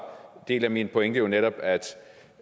en del af min pointe jo netop